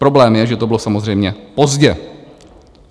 Problém je, že to bylo samozřejmě pozdě.